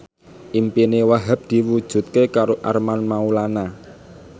impine Wahhab diwujudke karo Armand Maulana